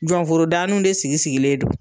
Jɔnforo daani de sigi sigilen don.